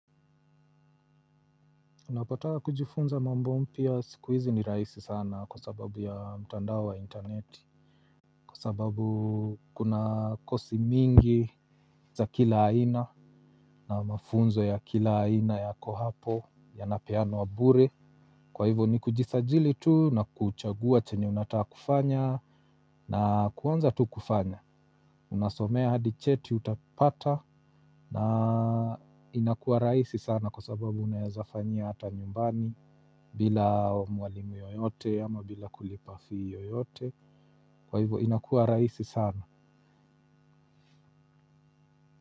Unapotaka kujifunza mambo mpya sikuizi ni raisi sana kwa sababu ya mtandao wa intaneti. Kwa sababu kuna kosi mingi za kila aina na mafunzo ya kila aina yako hapo yanapeanwa bure. Kwa hivyo ni kujisajili tu na kuchagua chenye unata kufanya na kuanza tu kufanya. Unasomea hadi cheti utapata na inakua raisi sana kwa sababu unaeza fanyia hata nyumbani bila mwalimu yoyote ama bila kulipa fee yoyote. Kwa hivyo inakua raisi sana.